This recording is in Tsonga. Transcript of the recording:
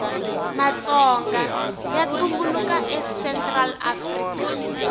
matsonga yatumbulaka a central afrika